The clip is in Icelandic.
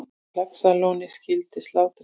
Laxalóni skyldi slátrað.